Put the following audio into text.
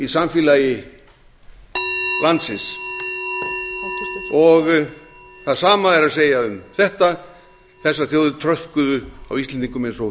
samfélagi landsins það sama er að segja um þetta þessar þjóðir tröðkuðu á íslendingum eins og